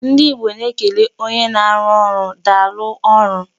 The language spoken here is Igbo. Ndị Igbo na-ekele onye na-arụ ọrụ daalụ ọrụ.